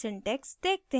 syntax देखते हैं